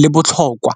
le botlhokwa.